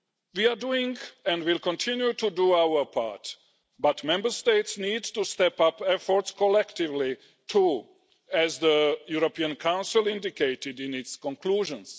We are doing, and will continue to do, our part, but Member States need to step up efforts collectively too, as the European Council indicated in its conclusions.